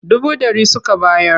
Dubu ɗari suka bayar.